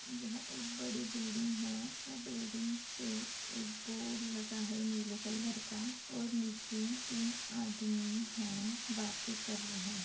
यह एक बड़ी बिल्डिंग है वो बिल्डिंग पे एक बोर्ड लगा है नीले कलर का और नीचे तीन आदमी है बाते कर रहे--